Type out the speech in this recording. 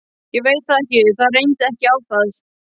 Ég veit það ekki, það reyndi ekki á það.